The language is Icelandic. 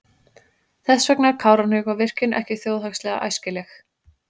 Þess vegna er Kárahnjúkavirkjun ekki þjóðhagslega æskileg.